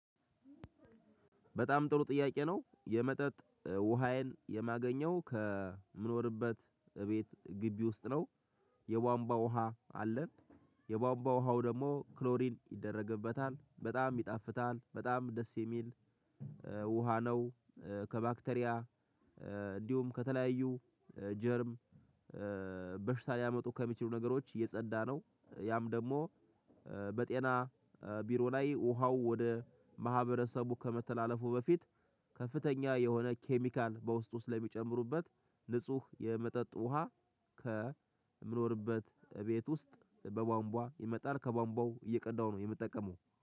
በጣም ጥሩ ጥያቄ ነው የመጠጥ ውሃዬን የማገኘው ከምኖርበት እቤት ግቢ ውስጥ ነው። የቧንቧ ውሃ አለን። የቧንቧ ውሃው ደግሞ ክሎሪን ይደረግበታል በጣም ይጣፍታል በጣም ደስ የሚል ውሃ ነው። ከባክቴሪያ እንዲሁም ከተለያዩ ጀርም በሽታ ሊያመጡ ከሚችሉ ነገሮች እየጸዳ ነው። ያም ደግሞ በጤና ቢሮ ላይ ውሃው ወደ ማህበረሰቡ ከመተላለፉ በፊት ከፍተኛ የሆነ ኬሚካል በውስጡ ስለሚጨምሩበት ንጹህ የመጠጥ ውሃ። ከምኖርበት ቤት ውስጥ በቧንቧ ይመጣል ከቧንቧው እየቀዳው ነው የምጠቀመው